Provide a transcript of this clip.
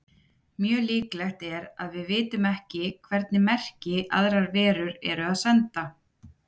Mjög líklegt er að við vitum ekki hvernig merki aðrar verur eru að senda.